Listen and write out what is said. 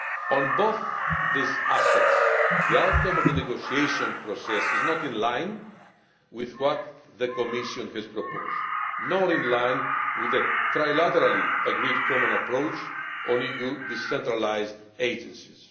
On both these aspects, the outcome of the negotiation process is not in line with what the Commission has proposed or with the trilaterally agreed common approach on EU decentralised agencies.